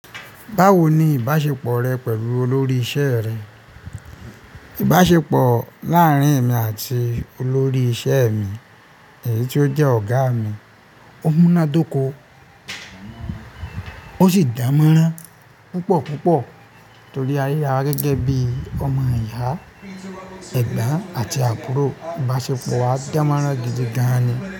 Báwo ni ìbáṣepọ̀ rẹ pẹ̀lú olórí iṣẹ́ rẹ? Ìbáṣepọ̀ láárín èmi àti olórí iṣẹ́ mi, èyí ti ó jẹ́ ọ̀gá mi, ó múnádóko, ó sì dánmọ́nrán púpọ̀ púpọ̀ torí a ríra wa gẹ́gẹ́ bí ọmọ ìyà, ẹ̀gbọ́n àti àbúrò. Ìbáṣepọ̀ wa dánmọ́nrán gidi gan-an ni.